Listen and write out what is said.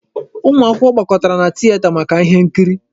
Ụmụ akwụkwọ gbakọtara na tieta maka ihe nkiri.